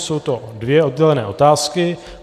Jsou to dvě oddělené otázky.